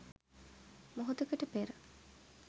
මොහොතකට පෙර